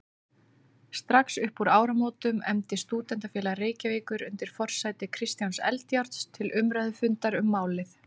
Strax uppúr áramótum efndi Stúdentafélag Reykjavíkur undir forsæti Kristjáns Eldjárns til umræðufundar um málið.